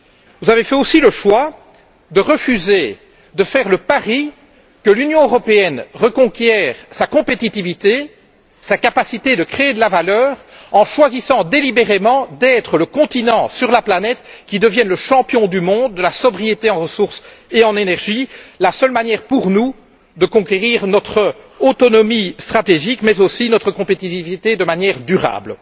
Vous avez fait aussi le choix de refuser de faire le pari que l'Union européenne reconquiert sa compétitivité et sa capacité de créer de la valeur en choisissant délibérément d'être, sur la planète, le continent qui devienne le champion du monde de la sobriété en ressources et en énergie, la seule manière pour nous de conquérir notre autonomie stratégique mais aussi notre compétitivité de manière durable.